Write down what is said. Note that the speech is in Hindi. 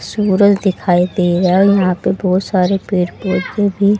दिखाई दे रहा है और यहां पे बहोत सारे पेड़ पौधे भी--